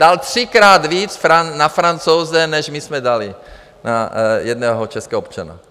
Dal třikrát víc na Francouze, než my jsme dali na jednoho českého občana.